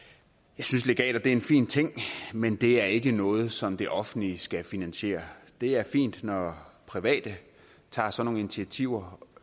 jeg synes legater er en fin ting men det er ikke noget som det offentlige skal finansiere det er fint når private tager sådan nogle initiativer